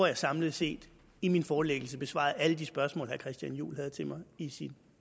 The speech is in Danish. jeg samlet set i min forelæggelse besvarede alle de spørgsmål herre christian juhl havde til mig i sit